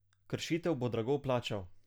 Kršitve bo drago plačal.